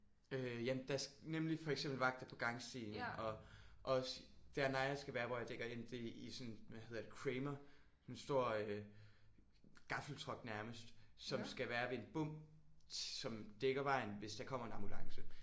Øh ja der nemlig for eksempel vagter på gangstien og også der Naja skal være hvor jeg dækker ind det er i sådan hvad hedder det Cramer sådan en stor gaffeltruck nærmest som skal være ved en bom som dækker vejen hvis der kommer en ambulance